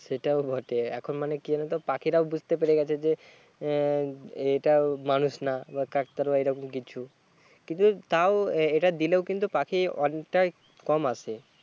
সেটাও বটে এখন মানে কি জানোতো পাখিরাও বুঝতে পেরে গেছে যে হম এটাও মানুষ না কাকতাড়ুয়া এরকম কিছু কিন্তু তাও এটা দিলেও কিন্তু পাখি অনেকটাই কম আসে